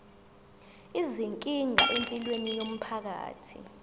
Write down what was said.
izinkinga empilweni yomphakathi